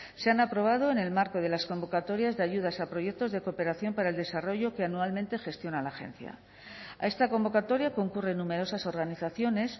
se han aprobado en el marco de las convocatorias de ayudas a proyectos de cooperación para el desarrollo que anualmente gestiona la agencia a esta convocatoria concurren numerosas organizaciones